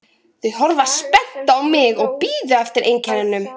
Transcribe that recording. Þau horfðu spennt á mig og biðu eftir einkennunum.